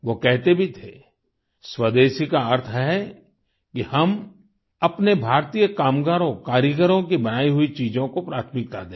वो कहते भी थे स्वदेशी का अर्थ है कि हम अपने भारतीय कामगारों कारीगरों की बनाई हुई चीजों को प्राथमिकता दें